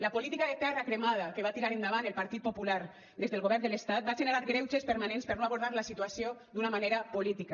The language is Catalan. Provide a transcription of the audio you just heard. la política de terra cremada que va tirar endavant el partit popular des del govern de l’estat va generar greuges permanents per no abordar la situació d’una manera política